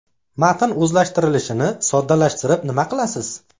Matn o‘zlashtirilishini soddalashtirib nima qilasiz?